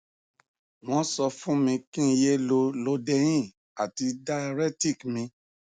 wọn sọ fún mi kí n yé lo lodein àti diaretic mi